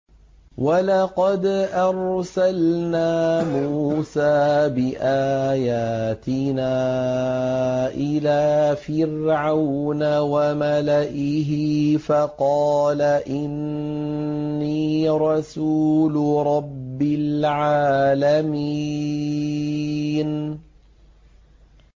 وَلَقَدْ أَرْسَلْنَا مُوسَىٰ بِآيَاتِنَا إِلَىٰ فِرْعَوْنَ وَمَلَئِهِ فَقَالَ إِنِّي رَسُولُ رَبِّ الْعَالَمِينَ